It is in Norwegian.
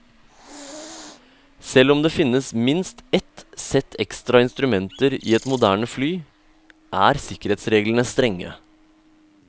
Selv om det finnes minst ett sett ekstra instrumenter i et moderne fly, er sikkerhetsreglene strenge.